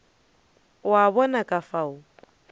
o a bona ka fao